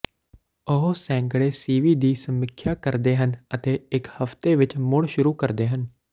ਉਹ ਸੈਂਕੜੇ ਸੀਵੀ ਦੀ ਸਮੀਖਿਆ ਕਰਦੇ ਹਨ ਅਤੇ ਇਕ ਹਫਤੇ ਵਿਚ ਮੁੜ ਸ਼ੁਰੂ ਕਰਦੇ ਹਨ